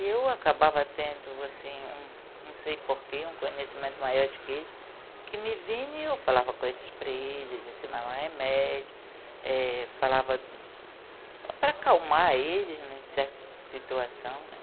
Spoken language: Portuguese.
E eu acabava tendo, assim, um não sei porquê, um conhecimento maior do que eles, que me vinham e eu falava coisas para eles, ensinava um remédio, eh falava para acalmar eles em certa situação, né?